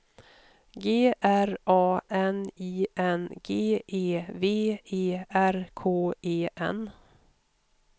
G R A N I N G E V E R K E N